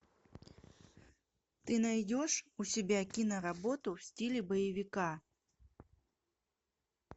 ты найдешь у себя киноработу в стиле боевика